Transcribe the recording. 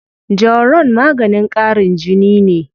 Jawaron maganin ƙarin jini ne.